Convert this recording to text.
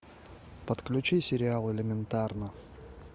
подключи сериал элементарно